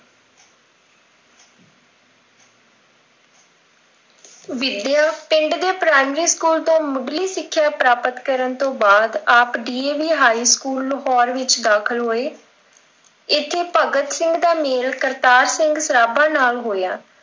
ਵਿੱਦਿਆ, ਪਿੰਡ ਦੇ ਪ੍ਰਾਇਮਰੀ school ਤੋਂ ਮੁੱਢਲੀ ਸਿੱਖਿਆ ਪ੍ਰਾਪਤ ਕਰਨ ਤੋਂ ਬਾਅਦ ਆਪ DAV school l ਲਾਹੌਰ ਵਿੱਚ ਦਾਖਿਲ ਹੋਏ, ਇੱਥੇੇ ਭਗਤ ਸਿੰਘ ਦਾ ਮੇਲ ਕਰਤਾਰ ਸਿੰਘ ਸਰਾਭਾ ਨਾਲ ਹੋਇਆਂ।